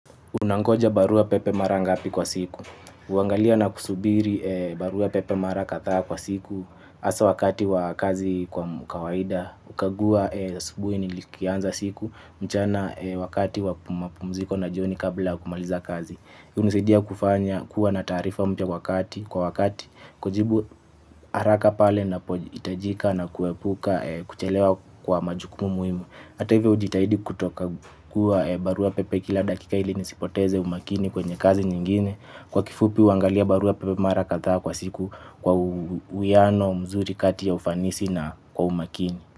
Unangoja barua pepe mara ngapi kwa siku. Uangalia na kusubiri barua pepe mara kadhaa kwa siku. Hasa wakati wa kazi kwa kawaida. Hukagua asubuhi nikianza siku. Mchana wakati wa mapumziko na jioni kabla kumaliza kazi. Hunisidia kufanya kuwa na taarifa mpya wakati. Kwa wakati kujibu haraka pale napoitajika na kuepuka kuchelewa kwa majukumu muhimu. Hata hivyo hujitahidi kutokangua barua pepe kila dakika ili nisipoteze umakini kwenye kazi nyingine. Kwa kifupi huangalia barua pepe mara kadhaa kwa siku kwa uiano mzuri kati ya ufanisi na kwa umakini.